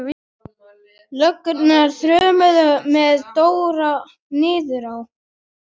Löggurnar þrömmuðu með Dóra niður á